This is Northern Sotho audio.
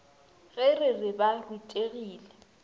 ge re re ba rutegile